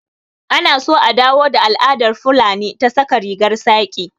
Anaso a dawo da al'adar fulani ta saka rigar saƙi